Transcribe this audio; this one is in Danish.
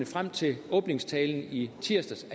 frem til åbningstalen i tirsdags